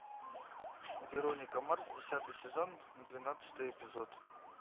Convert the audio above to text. вероника марс десятый сезон двенадцатый эпизод